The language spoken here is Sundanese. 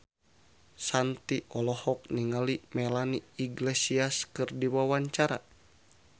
Shanti olohok ningali Melanie Iglesias keur diwawancara